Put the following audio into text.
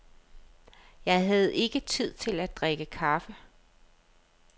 Jeg havde ikke tid til at drikke kaffe.